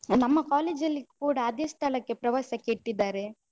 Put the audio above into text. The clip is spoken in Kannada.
ನಮ್ಮ college ಅಲ್ಲಿ ಕೂಡ ಅದೇ ಸ್ಥಳಕ್ಕೆ ಪ್ರವಾಸಕ್ಕೆ ಇಟ್ಟಿದ್ದಾರೆ.